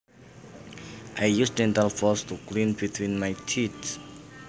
I use dental floss to clean between my teeth